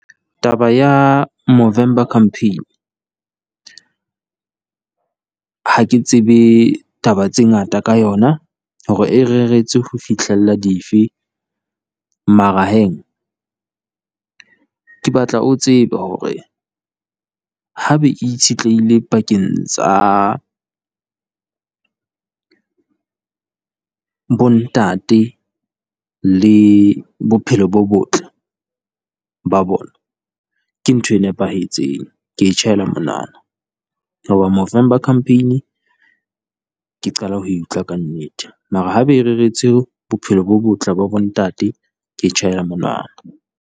Taba ya Movember Campaign ha ke tsebe taba tse ngata ka yona hore e reretswe ho fihlella dife, mara he, ke batla o tsebe hore ha be e itshitlehile pakeng tsa bo ntate le bophelo bo botle ba bona. Ke ntho e nepahetseng. Ke e tjhaela monwana, hoba Movember Campaign ke qala ho e utlwa kannete mara haebe e reretswe bophelo bo botle ba bo ntate, ke e tjhaela monwana.